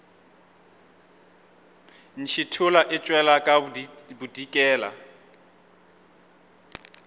ntšhithola e tšwela ka bodikela